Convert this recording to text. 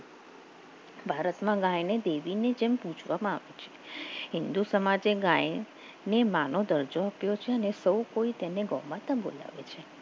ભારતમાં ગાયને દેવીની જેમ પૂજવામાં આવે છે હિન્દુ સમાજ ગાય માનવ દરજ્જો આપ્યો છે અને સૌ કોઈ તેને ગૌ માતા બોલાવે છે